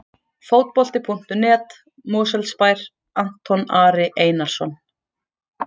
Fótbolti.net, Mosfellsbær- Anton Ari Einarsson.